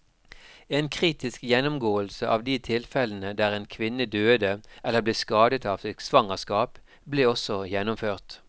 En kritisk gjennomgåelse av de tilfellene der en kvinne døde eller ble skadet av sitt svangerskap, ble også gjennomført.